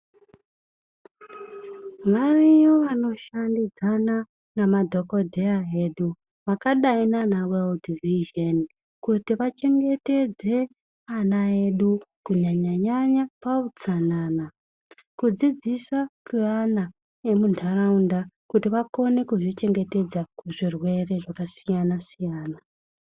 Variyo vanoshandidzana nemadhokodheya edu vakadai nana Weudhi vhizheni kuti vachengetedze ana edu kunyanya nyanya pautsanana. Kudzidzisa kweana emuntaraunda kuti vakone kuzvichengetedza kuzvirwere zvakasiyana siyana.